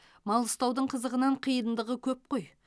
мал ұстаудың қызығынан қиындығы көп қой